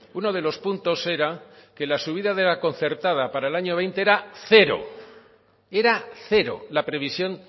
uno de los puntos era que la subida de la concertada para el año veinte era cero era cero la previsión